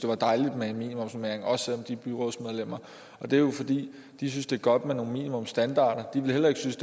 være dejligt med en minimumsnormering også selv om de er byrådsmedlemmer det er jo fordi de synes det er godt med nogle minimumsstandarder de ville heller ikke synes